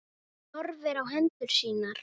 Hún horfir á hendur sínar.